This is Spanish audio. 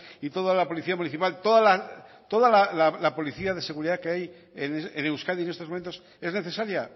y toda la policía municipal toda la policía de seguridad que hay en euskadi en estos momentos es necesaria